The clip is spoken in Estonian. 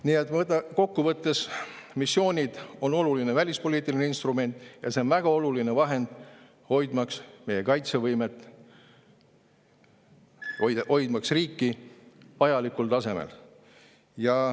Nii et kokku võttes, missioonid on oluline välispoliitiline instrument ja see on väga oluline vahend, hoidmaks meie kaitsevõimet, hoidmaks riiki vajalikul tasemel.